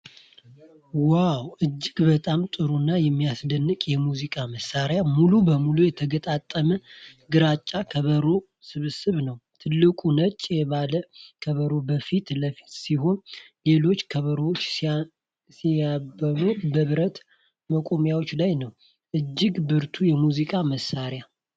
ዋው! እጅግ በጣም ጥሩ እና የሚያስደንቅ የሙዚቃ መሣሪያ! ሙሉ በሙሉ የተገጣጠመ ግራጫ ከበሮ ስብስብ ነው። ትልቁ ነጭ የባስ ከበሮ ከፊት ለፊት ሲሆን፣ ሌሎች ከበሮዎችና ሲምባሎች በብረት መቆሚያዎች ላይ ነው። እጅግ ብርቱ የሙዚቃ መሳሪያ!